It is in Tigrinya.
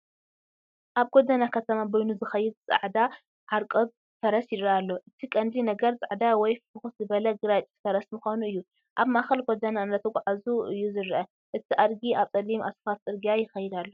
ኣብ ጎደና ከተማ በይኑ ዝኸይድ ጻዕዳ ዓርቋብ ፈረስ ይረአ ኣሎ። እቲ ቀንዲ ነገር ጻዕዳ ወይ ፍኹስ ዝበለ ግራጭ ፈረስ ምዃኑ እዩ። ኣብ ማእኸል ጎደና እናተጓዕዘ እዩ ዝረአ። እቲ ኣድጊ ኣብ ጸሊም ኣስፋልት ጽርግያ ይኸይድ ኣሎ።